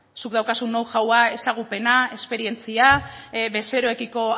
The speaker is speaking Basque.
zuk daukazun know howa ezagupena esperientzia bezeroekiko